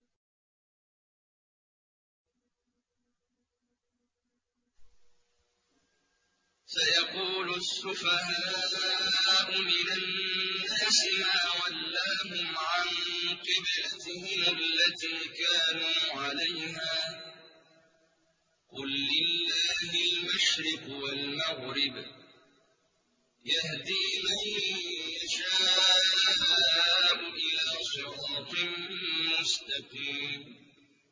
۞ سَيَقُولُ السُّفَهَاءُ مِنَ النَّاسِ مَا وَلَّاهُمْ عَن قِبْلَتِهِمُ الَّتِي كَانُوا عَلَيْهَا ۚ قُل لِّلَّهِ الْمَشْرِقُ وَالْمَغْرِبُ ۚ يَهْدِي مَن يَشَاءُ إِلَىٰ صِرَاطٍ مُّسْتَقِيمٍ